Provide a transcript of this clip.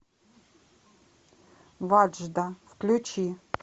ваджда включи